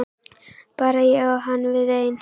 Bara ég og hann við ein.